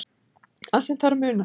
Það sem þarf að muna